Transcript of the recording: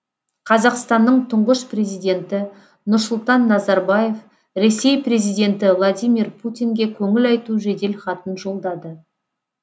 қазақстанның тұңғыш президенті нұрсұлтан назарбаев ресей президенті владимир путинге көңіл айту жедел хатын жолдады